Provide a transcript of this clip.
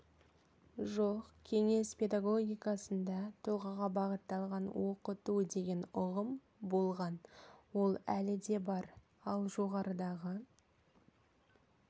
жоқ кеңес педагогикасында тұлғаға бағытталған оқыту деген ұғым болған ол әлі де бар ал жоғарыдағы